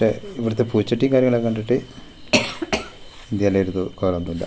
ഇവിടുത്തെ പൂച്ചെട്ടിയും കാര്യങ്ങളൊക്കെ കണ്ടിട്ട് .